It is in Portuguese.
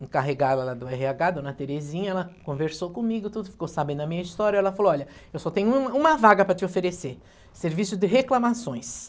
encarregada lá do erre agá, Dona Terezinha, ela conversou comigo, tudo, ficou sabendo a minha história, ela falou, olha, eu só tenho um uma vaga para te oferecer, serviço de reclamações.